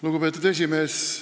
Lugupeetud esimees!